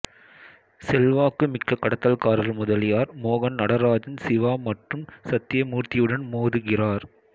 செல்வாக்குமிக்க கடத்தல்காரர் முதலியார் மோகன் நடராஜன் சிவா மற்றும் சத்தியமூர்த்தியுடன் மோதுகிறார்